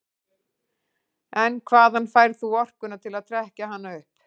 En hvaðan færð þú orkuna til að trekkja hana upp?